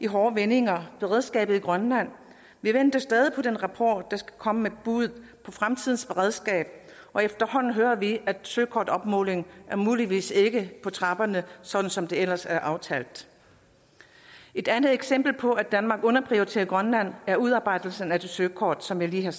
hårde vendinger beredskabet i grønland vi venter stadig på den rapport der skal komme med et bud på fremtidens beredskab og efterhånden hører vi at søkortopmålingen muligvis ikke på trapperne sådan som det ellers er aftalt et andet eksempel på at danmark underprioriterer grønland er nemlig udarbejdelsen af det søkort som jeg lige har